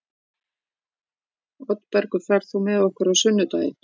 Oddbergur, ferð þú með okkur á sunnudaginn?